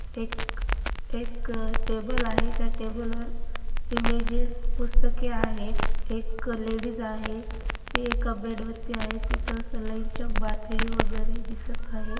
एक एक टेबल आहे त्या टेबल वर इमेजेस पुस्तके आहे एक लेडिस आहे ती एका बेड वरती आहे तिथ सलाईनचा बाटली वगैरे दिसत आहे.